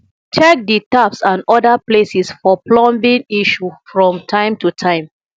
check di taps and oda places for plumbing issue from time to time